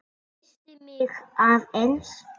Missti mig aðeins.